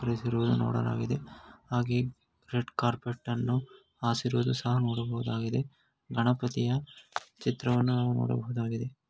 ಧರಿಸಿರುವುದನ್ನು ನೋಡಲಾಗಿದೆ ಹಾಗೆಯೆ red carpet ಅನ್ನು ಹಾಸಿರುವುದು ಸಹ ನೋಡಬಹುದಾಗಿದೆ ಗಣಪತಿಯ ಚಿತ್ರವನ್ನು ಸಹ ನಾವು ನೋಡಬಹುದಾಗಿದೆ.